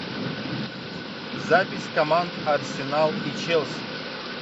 запись команд арсенал и челси